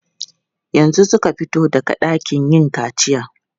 Yanzu suka fito daga ɗakin yin kaciya.